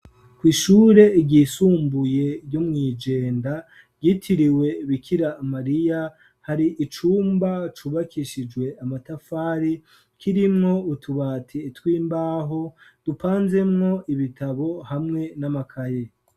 Kw' ishure ryisumbuye ryo mw' i Jenda ryitiriwe Bikira Mariya, hari icumba cubakishijwe amatafari kirimwo utubati tw'imbaho dupanzemwo ibitabo hamwe n'amakaye.